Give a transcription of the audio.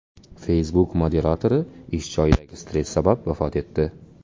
Facebook moderatori ish joyidagi stress sabab vafot etdi.